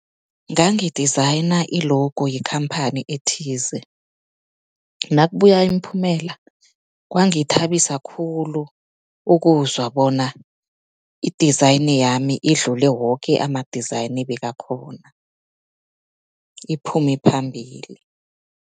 Ngangi-designer i-logo yekhamphani ethize, nakabuya imiphumela kwangithabisa khulu ukuzwa bona i-design yami idlule woke ama-design ebekakhona, iphume phambili.